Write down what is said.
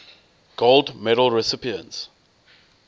gold medal recipients